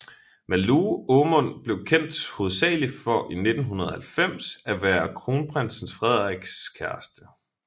Malou Aamund blev kendt hovedsageligt for i 1990 at være kronprins Frederiks kæreste